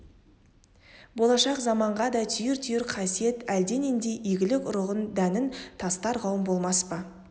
болашақ заманға да түйір-түйір қасиет әлденедей игілік ұрығын дәнін тастар қауым болмас па